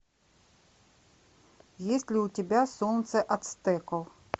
есть ли у тебя солнце ацтеков